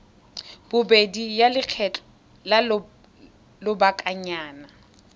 bobedi ya lekgetho la lobakanyana